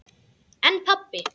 En pabbi?